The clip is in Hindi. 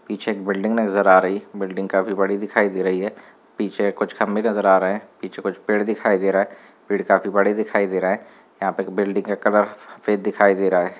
पीछे एक बिल्डिंग नजर आ रही है बिल्डिंग काफी बड़ी दिखाई दे रही है पीछे कुछ खम्भे नजर आ रहे है पीछे कुछ पेड़ दिखाई दे रहा है पेड़ काफी बड़े दिखाई दे रहा है यहां पे बिल्डिंग का कलर सफ़ेद दिखाई दे रहा है।